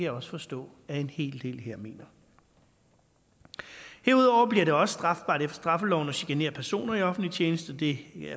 også forstå at en hel del her mener herudover bliver det også strafbart efter straffeloven at genere personer i offentlig tjeneste det